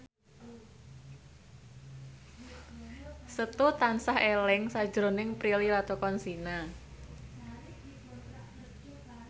Setu tansah eling sakjroning Prilly Latuconsina